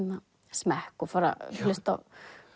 smekk og fara að hlusta á